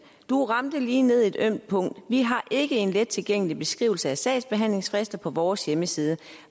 du ramte lige ned i et ømt punkt vi har ikke en let tilgængelig beskrivelse af sagsbehandlingsfrister på vores hjemmeside